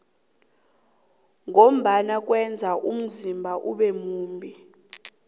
ngombana kweza umzimba ube mumbi